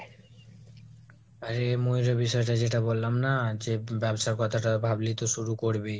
আরে মূল যে বিষয়টা যে বললাম না, যে ব্যাবসার কথাটা ভাবলি তো শুরু করবি;